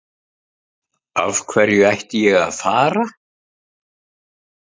Af hverju ætti ég að fara?